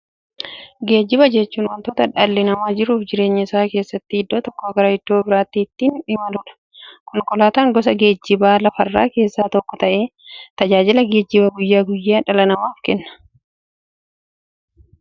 Geejjiba jechuun wanta dhalli namaa jiruuf jireenya isaa keessatti iddoo tokkoo gara iddoo birootti ittiin imaluudha. Konkolaatan gosa geejjibaa lafarraa keessaa tokko ta'ee, tajaajila geejjibaa guyyaa guyyaan dhala namaaf kenna.